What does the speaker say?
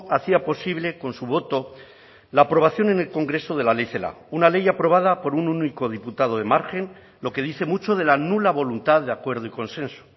hacía posible con su voto la aprobación en el congreso de la ley celaá una ley aprobada por un único diputado de margen lo que dice mucho de la nula voluntad de acuerdo y consenso